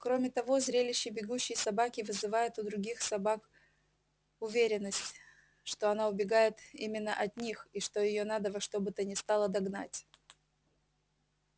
кроме того зрелище бегущей собаки вызывает у других собак уверенность что она убегает именно от них и что её надо во что бы то ни стало догнать